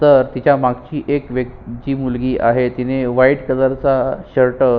तर तिच्या मागची एक जी मुलगी आहे तिने व्हाइट कलर चा शर्ट --